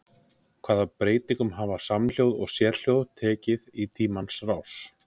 Hvaða breytingum hafa samhljóð og sérhljóð tekið í tímans rás?